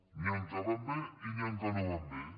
n’hi ha que van bé i n’hi ha que no van bé